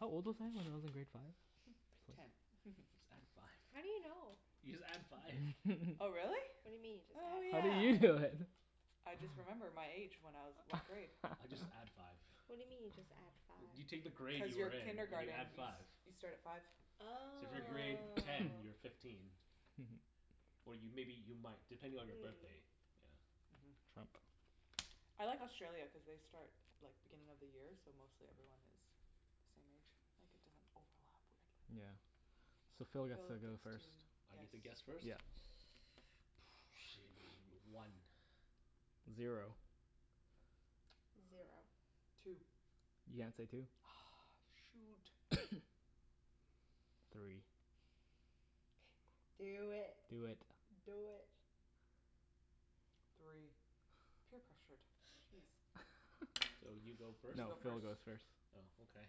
How old was I? When I was in grade five? Ten. Just add five. How do you know? You just add five. Oh really? What do you mean, Oh just oh add How yeah. you five? do know then? I just remember my age when I was what grade I just add five. What do you mean you just add five? You take the grade Cuz your you're in, and you add kindergarten you s- five. you start at five So if you're grade Oh. ten, you're fifteen. Or you, maybe you might, depending on your Mm. birthday. Trump. I like Australia cuz they start like, beginning of the year so mostly everyone has the same age. Like it doesn't overlap weirdly. Yeah, so Phil gets to go first. I get to guess first? Yeah. One Zero Zero Two You can't say two. Ugh shoot! Three. Do it. Do it. Do it. Three. Peer pressured, geez. So you go first? You No, go Phil first goes first. Oh okay.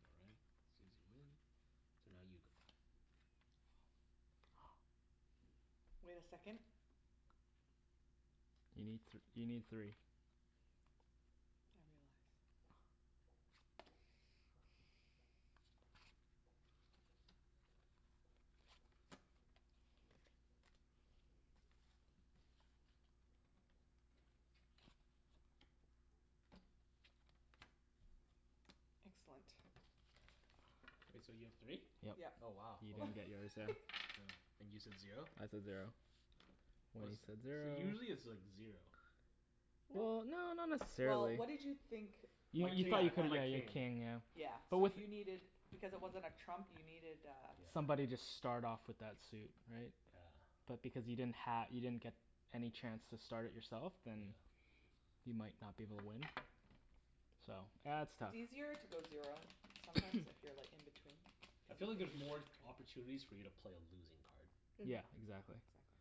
All right, Susie win, so now you go. Wait a second. You need th- you need three. Excellent. K, so you have three? Yep. Yep. Oh wow. You're gonna get yours now. And you said zero? I said zero. Wenny said So zero usually it's like zero. Well, no not Well, necessarily what did you think My king, I that thought one. my king. Yeah. So you needed, because it wasn't a trump you needed uh Somebody just start off with that suit, right? Yeah. But because you didn't ha- you didn't get any chance to start it yourself then you might not be able to win. So, yeah it's It's tough. easier to go zero, sometimes if you're like in between. I feel like there's more opportunities for you to play a losing card. Yeah, Mhm. exactly. Exactly.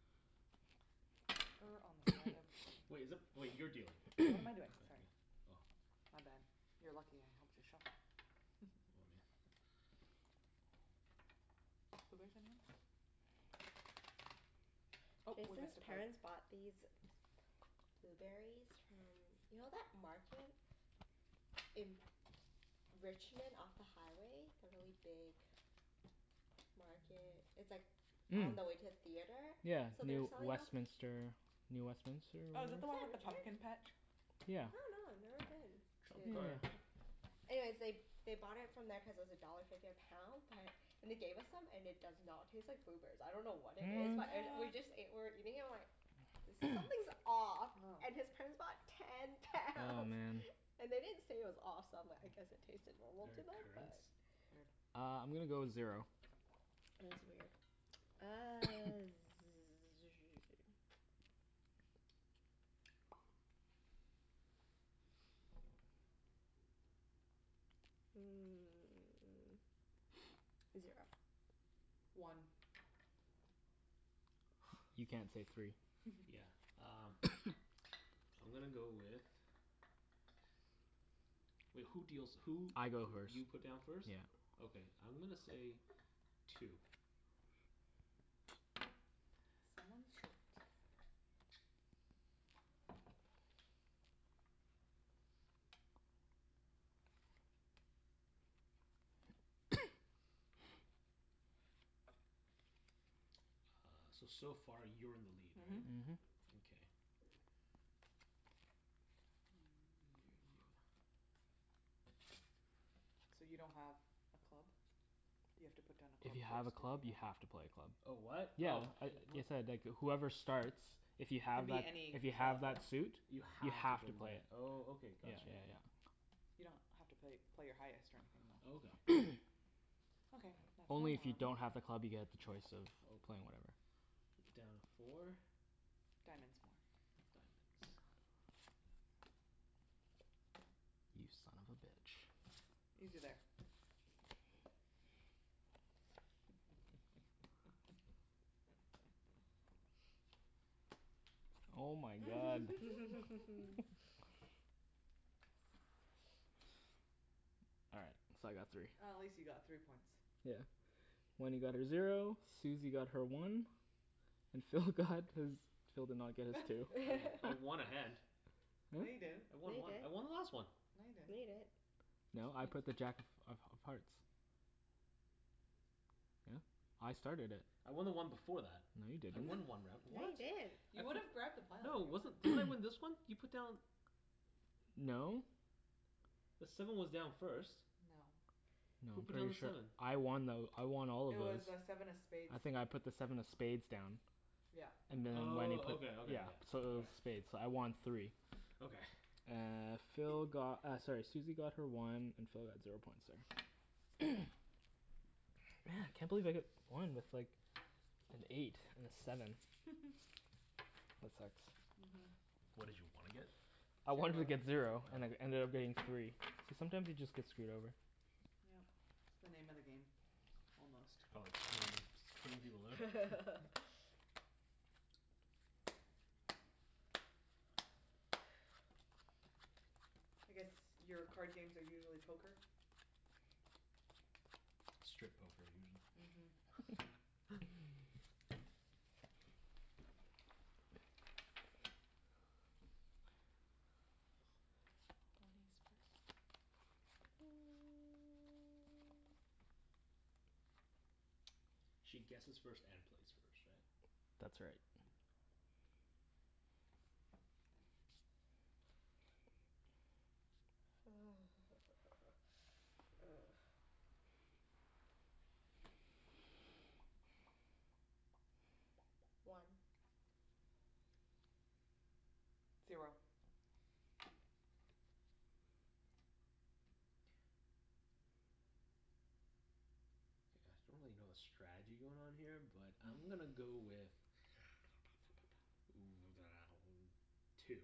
Wait, is it, wait, you're dealing. What am I doing, sorry. Oh My bad. You are lucky I helped you shuffle. Jason's parents bought these blueberries from, you know that market in Richmond off the highway, the really big market, it's like on the way to a theatre? Yeah So they were Near selling them Westminister, New Westminister Oh is whatever that the one with the pumpkin patch I Yeah. dunno, I've never been. Trump card. Yeah. Anyways they, they bought it from there cuz it was a dollar fifty a pound but, and they gave us some and it does not taste like blueberries, I dunno what it is But it, What? we What? just ate, we're eating and we're like, there's, something's off. Oh. And his parents bought ten Oh pounds. man And they didn't say it was off so I'm like I guess it tasted normal to They're them? currants? Uh, I'm gonna go zero. Yeah, it was weird. Uh hmm zero. One You can't say three Yeah, um. I'm gonna go with, wait who deals who I go first. You put down first? Yeah. Okay I'm gonna say two. Uh, so so far you're in the lead, right? Mhm. Mhm. Okay. So you don't have a club? You have to put down a If club you have first. a club you have to play a club. Oh what? Yeah, Oh. I, whoever starts, if you It can have be that, any if you have club. that suit You You have to have to play play it, it. oh Okay, Yeah got you. yeah yeah. You don't have to play, play your highest or anything though. Okay. Only if you don't have a club you get the choice of playing whatever. You put down four. Diamonds more Diamonds You son of a bitch. Easy there. Oh my god. All right, so I got three. Oh at least you got three points. Yeah. Wenny got her zero, Susie got her one, and Phil got his, Phil did not get his two. I w- I won a hand No, you didn't I No, won you one. I didn't won the last one! No, you No, you didn't didn't No, I put the jack of of of hearts. Yeah, I started it. I won the one before that. No, you I didn't. won one round, No, what? you didn't You would've grabbed the No, pile. it wasn't, didn't I win this one? You put down No. The seven was down first. No. No, Who I'm put down pretty the sure seven? I won though, I won all of It those. was uh seven of spades I think I put the seven of spades down. Yeah. And Wenny Oh put Okay, okay, yeah yeah. So it was spades, so I won three Okay. Uh, Phil got uh sorry Susie got her one, and Phil got zero points there. Man! Can't believe I got one with like an eight and a seven. That sucks. Mhm. What did you wanna get? I wanted to get Zero. zero, and it ended up being three. So sometimes you just get screwed over. Yeah. It's the name of the game, almost. Oh, it's pretty, pretty low. I guess your card games are usually poker? Strip poker, usually. Mhm She guesses first and plays first, right? That's right. One. Zero. K, I acutally don't really know the strategy going on here but I'm gonna go with two.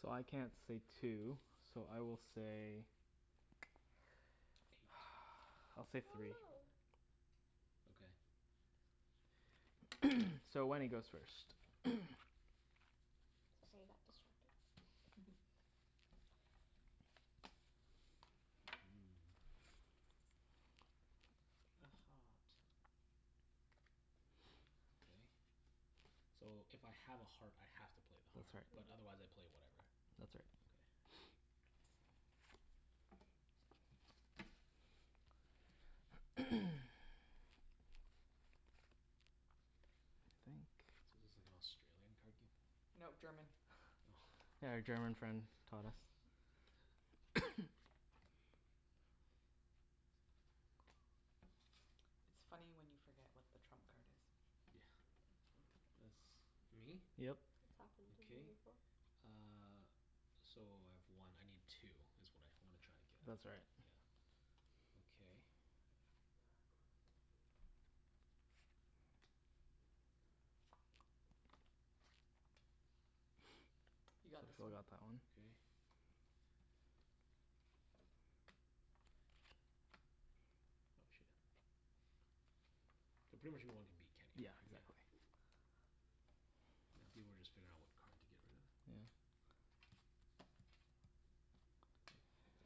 So I can't say two, so I will say, I'll say three. Okay. So Wenny goes first Sorry, I got distracted. Okay. So if I have a heart I have to play the That's heart. But right. otherwise I play whatever. That's right. Okay. So this is like Australian card game? No, German. Yeah, our German friend taught us. It's funny when you forget what the trump card is. Yeah. That's me? Yep. Okay uh, so I have one. I need two, it's what I wanna try and get. That's right Yeah, okay. You So got this Phil one. got that one. Okay. Oh shoot. I pretty much know I wanna beat Kenny. Yeah, exactly. Yeah, people were just figuring out what card to get rid of. Yeah.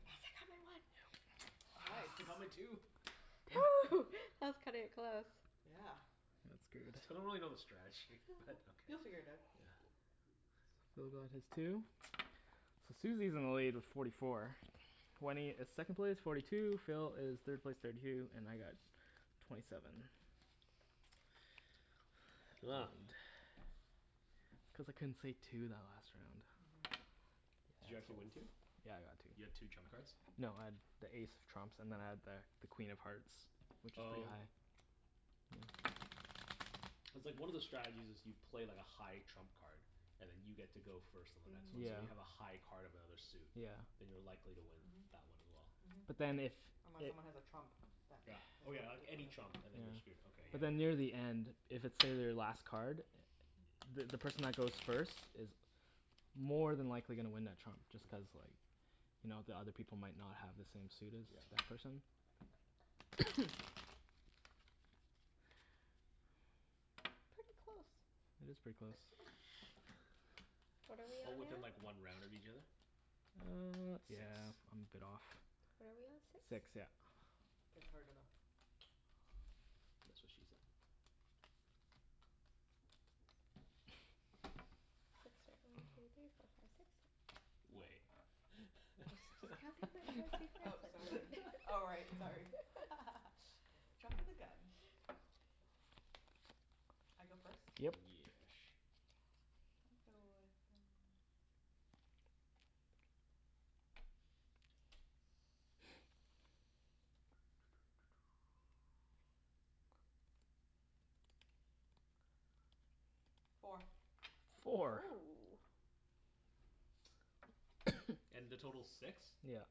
Yes, I got my one Nice. Nice, I got my two! that's cutting it close. Yeah. That's I still don't good. really know the strategy, but okay. You'll figure it out. Yeah. Phil got his two, so Susie is in the lead with forty four, Wenny is second place, forty two, Phil is third place, thirty two, and I got twenty seven. It's cuz I couldn't say two that last round. Did you actually win two? Yeah, I got two. You got two trump cards? No, I had the ace of trumps and then I had the the Queen of Hearts which is pretty Oh. high. Cuz like one of the strategies is you play like a high trump card and then you get to go first and Yeah. so you Mhm. have a high card of another suit, Yeah then you're likely to win Mhm. that one as well. Mhm. But then if Unless someone has a trump that Yeah. Oh yeah, like any trump and then you're screwed, okay But yeah. then near the end, if it's say, their last card, the the person that goes first is more than likely gonna win that trump just cuz like you know the other people might not have the same suit as that person. Pretty close. It is pretty close. What are we Oh on now? within like one round of each other? Uh, Six yeah I'm a bit off. What are we on? Six? Six, yeah. That's what she said. Six, right. one two three four five six Wait Oh sorry, oh right, sorry. Jumpin' the gun. I go first? Yep Yesh Four Four?! Woo. And the total's six? Yeah.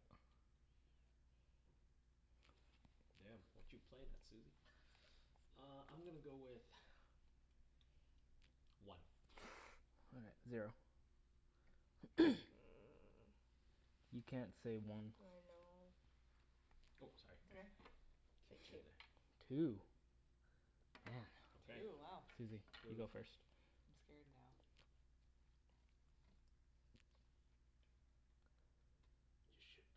Damn, what you playin' there, Susie. Uh I'm gonna go with one. All right, zero. You can't say I one know Oh, It's sorry. okay. K two. Two?! Damn Two, wow Susie, you go first I'm scared now. You should be.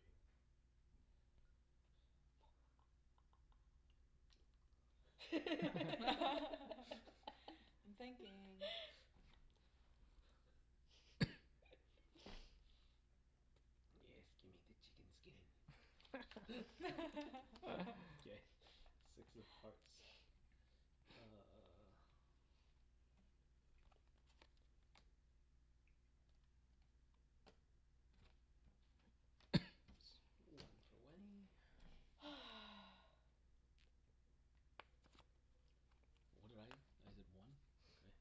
I'm thinking. Yes, gimme the chicken skin. K, six of hearts. Uh One for Wenny. What did I? I did one, okay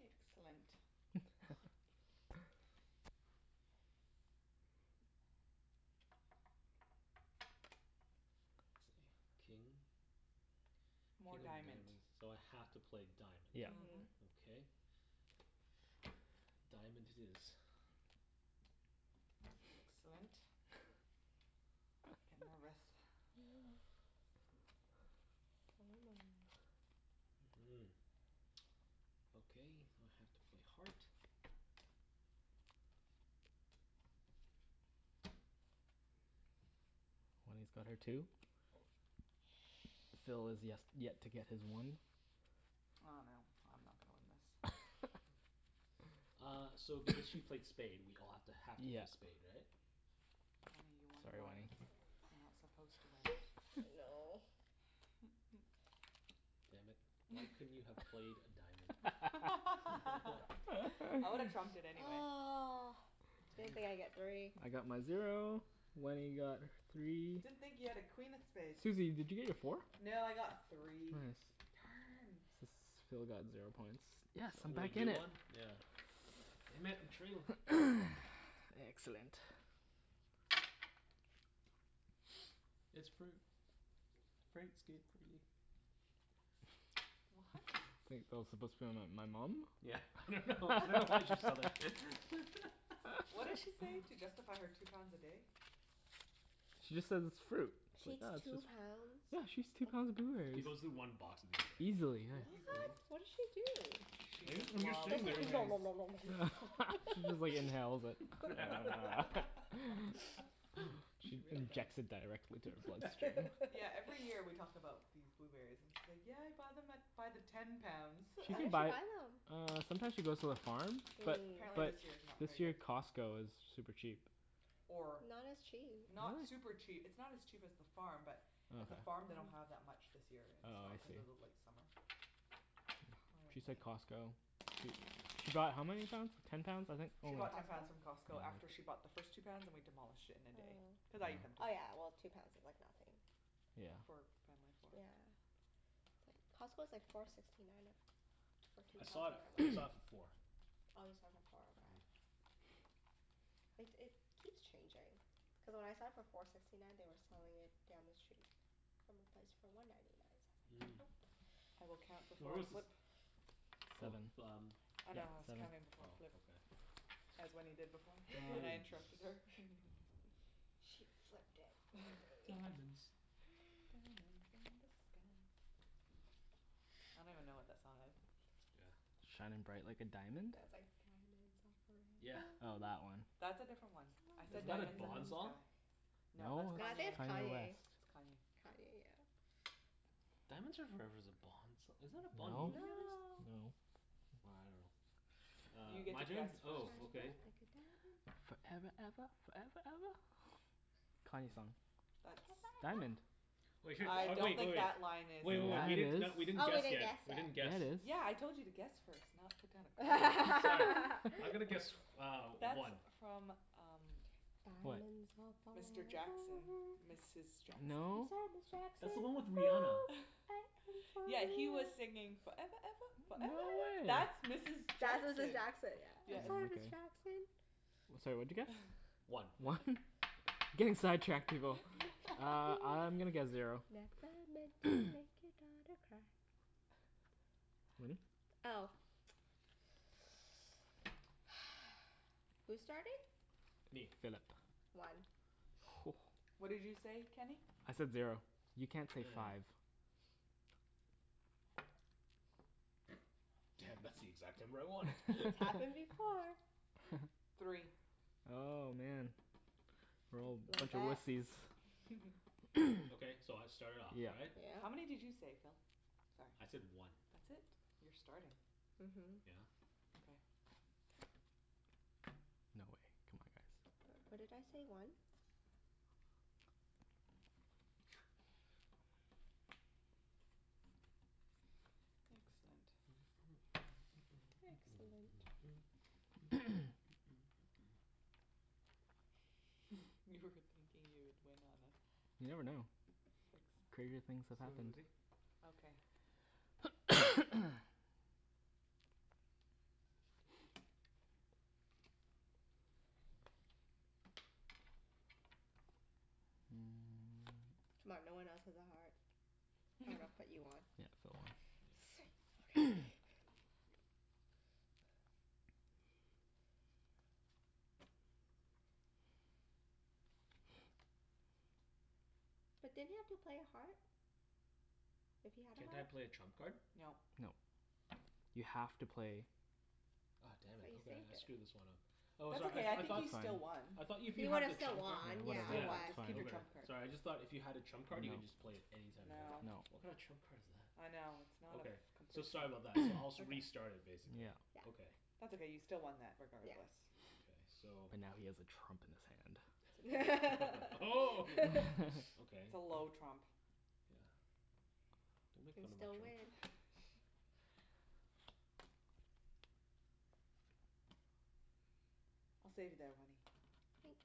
Excellent. King? More diamond So I have to play Yep diamond. Mhm. Okay. Diamond it is. Excellent. I'm nervous. Mm. Okay, now I have to play heart. Wenny's got her two. Phil has yes, yet to get his one I dunno, I'm not gonna win this. Uh, so if because she played spade we all have to, have to Yeah play spade, right? Sorry, Wenk. Wenk You're not supposed to win No. Damn it, why couldn't you have played a diamond. I would've trumped it anyway. Ugh, didn't think I'd get three I got my zero, Wenny got three Didn't think you had a queen of spades Susie, did you get your four? No, I got three. Nice. S- Darn! so Phil got zero points. Yes! So I'm only back in you it! won? Yeah. Damn it, I'm trailin'. Excellent. It's fruit. Fruit's good for you. What? I think Phil's supposed to be my- my mom? Yeah, I dunno, I dunno why I just thought of What did she say? To justify her two pounds a day? She just says it's fruit. She eats two pounds? Yeah, she eats two pounds of She blueberries. goes through one box. Easily, yeah. What? What did she do? I guess, when you're sitting there you just nom nom nom nom nom She just like inhales it. She injects it directly into her bloodstream Yeah every year we talk about these blueberries and she's like yeah I bought them at, by the ten pounds. She Where can did she buy, buy them? uh sometimes she goes to the farm But But Mm. apparently but this year is not very this year good. Costco is super cheap. Or Not as cheap Not super Really? cheap, it's not as cheap as the farm but at the farm they don't have that much this year in Oh I stock, see. cuz of the late summer. She said Costco, she she bought how many pounds? Ten pounds I think, oh She bought ten pounds from Costco after she bought the first two pounds and we demolished it in a day. Cuz Oh. I ate them too. Oh yeah well two pounds is like nothing Yeah. Yeah. It's like, Costco's like four sixty nine a- for two I saw pounds it, when I I went. saw it for four. Oh you saw it for four, okay. Like it keeps changing. Cuz when I saw it for four sixty nine they were selling it down the street from a place for one ninety nine. So I was like, Where was this? nope. Oh Seven, f- um. yeah seven As Wenny did before but I Diamonds interrupted her. She flipped it for me. Diamonds Diamonds in the sky I don't even know what that song is Yeah. Shining bright like a diamond? Yeah, it's like, "Diamonds are Yeah forever." Oh, that one That's a different one. I Was said that a "diamonds in the Bond song? sky". No, No, I think it's it's Kanye West. Kanye. It's Kanye Kanye, yeah. Diamonds are forever's a bond song, isn't that a Bond movie? No. No. Well, I dunno Uh, my turn? Oh okay. Foreva eva, foreva eva. Kanye song That's Diamond. Wait, I oh don't wait, think oh that line wait. is Wait wait in wait, that we didn't not, we s- didn't Oh we guess didn't yet. guess We yet didn't guess. Yeah, Yeah, I it is told you to guess first not put down. I'm gonna guess uh That's one. from um Diamonds are Mr forever Jackson, Mrs Jackson I'm No? sorry, That's Ms the one with Jackson. Rihanna. Yeah, he was singing "foreva eva foreva No eva." That's way! Mrs That's Mrs Jackson Jackson yeah. I'm sorry, Ms Jackson. Sorry, what'd you guess? One. One? Getting sidetracked, people. Uh, I'm gonna guess zero. Wenny? Oh. Who's starting? Me. Philip. One. Whoa. What did you say, Kenny? I said zero. You can't say five. Damn, that's the exact number I wanted. It's happened before. Three Oh, man. Okay, so I start it off, Yeah. right? Yeah. How many did you say, Phil? I said one. That's it? You're starting. Mhm. Yeah. No way. C'mon guys What did I say, one? Excellent. Excellent. You were thinking you would win on a- You never know. Crazier things have happened. C'mon, no one else has a heart. I dunno, but you won. Sweet! Okay But didn't you have to play a heart? If you had a Can't I heart? play a trump card? No. No. You have to play Oh damn But it, you okay, saved I it screwed this one up. Oh That's sorry, okay I I I think thought you still won I thought if you He have would've the still trump card won, yeah Yeah, Yeah. it's Keep your Okay, trump fine card sorry, I just thought if you had a trump card you can just play it anytime you want. No What kind of No trump card is that? I know, it's not a Okay, f- so complete sorry trump- about that. So I'll s- restart it basically. Yeah. That's okay you still won that Yes. regardless. Okay so But now he has a trump in That's his hand okay Oh. Okay. It's a low trump Yeah, don't You make can fun of my still trump. win. I'll save you there Wenny. Thanks.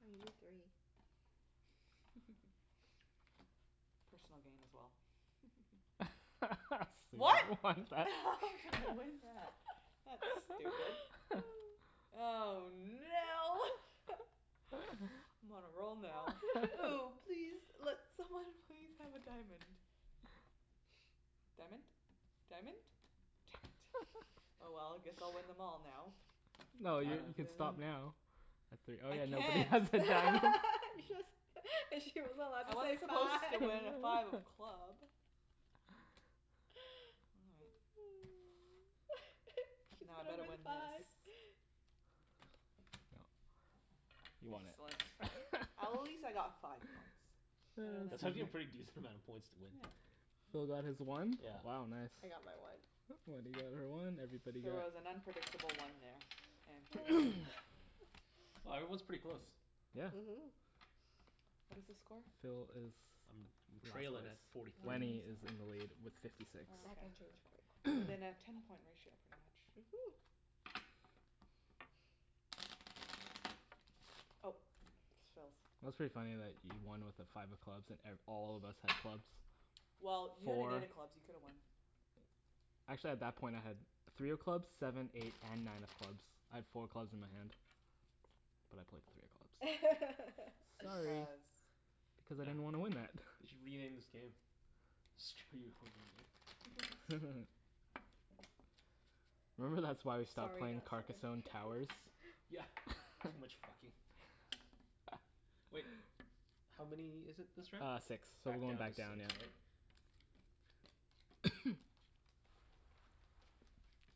Oh, you need three. Personal gain as well. What?! what is that? That's stupid. Oh no! I'm on a roll now. Oh please, let someone please have a diamond. Diamond? Diamond? Damn it, oh well, guess I'll win them all now. No, you you can stop now, at three Oh I yeah, nobody has can't. a diamond You just, she wasn't allowed to I say was supposed five to win at five of club. She's Now I gonna better win win this. five Yep, you won Excellent. At least I it. got five points That's actually a pretty decent amount of points to win. Phil got his one Yeah. Wow nice. I got my one. Wenny got her one, everybody She got was an unpredictable one there. Wow, everyone's pretty close. Yeah. Mhm. What is the score? Phil is I'm trailin' at forty three. Wenny is in the lead with fifty six. Within a ten point ratio Mhm. Oh, Phil's. It was pretty funny that you won with a five of clubs at and all of us had clubs, Well, you had four a clubs. You could've won. Actually at that point I had three of clubs, seven, eight and nine of clubs. I had four clubs in my hand, but I played three of clubs Sorry Cuz I didn't want to win that They should rename this game. Screw you over game. Remember that's why we stopped playing Carcassonne Towers? Yeah, too much fucking. Wait, how many is it this round? Uh six, so we're Back going down to back down six, yeah. right?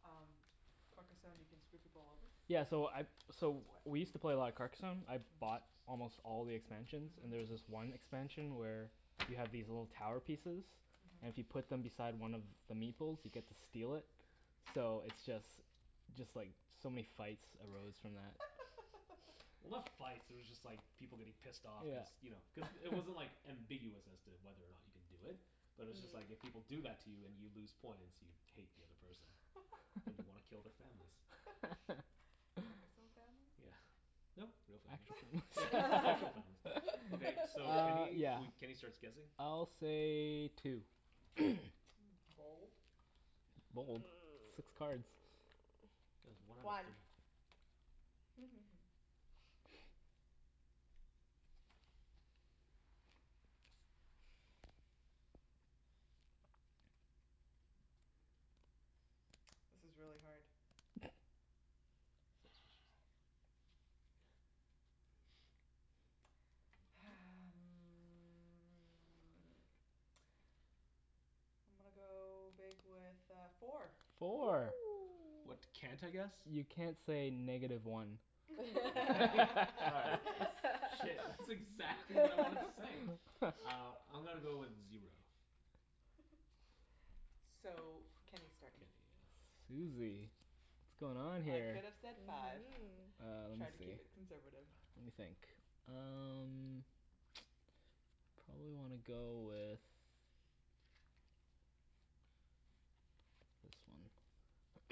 Um, Carcassonne can screw people over? Yeah so I so we used to play a lot of Carcasonne, I bought almost all the expansions, and there's this one expansion where you have these little tower pieces, and if you put them beside one of the Meeple's you get to steal it. So it's just, just like so many fights arose from that. Well, not fights, they were just like people getting pissed off. Cuz you know, cuz Yeah it wasn't like ambiguous as to whether or not you can do it, but it's just like if people do that to you and you lose points, you'd hate the other person. And you wanna kill their families. Carcasonne families? Yeah. No, real families Okay, so Uh Kenny, yeah we Kenny starts guessing I'll say two. Six cards. One This is really hard. That's what she said. Hum, I'm gonna go big with uh four. Four Woo. What can't I guess? You can't say negative one. All right, shit, that's exactly what I wanted to say! Uh, I'm gonna go with zero. So Kenny start, k Susie, what's going on I here could've said five Mm. Uh lemme Try to keep see it conservative. Lemme think, um probably wanna go with this